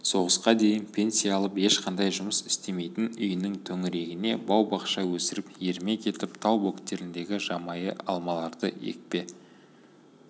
соғысқа дейін пенсия алып ешқандай жұмыс істемейтін үйінің төңірегіне бау-бақша өсіріп ермек етіп тау бөктеріндегі жабайы алмаларды екпе